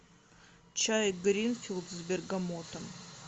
чай гринфилд с бергамотом